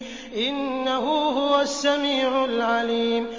إِنَّهُ هُوَ السَّمِيعُ الْعَلِيمُ